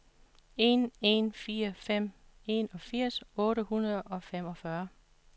en en fire fem enogfirs otte hundrede og femogfyrre